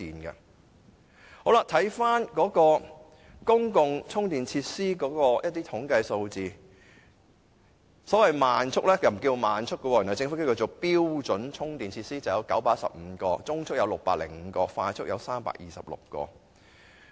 至於公共充電設施的統計數字，原來按政府使用的名稱，慢速充電器的名稱是標準充電器，數目有915個，中速有605個，快速有326個。